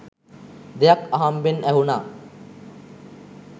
දෙයක් අහම්බෙන් ඇහුන